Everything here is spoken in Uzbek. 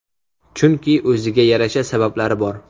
Chunki o‘ziga yarasha sabablari bor.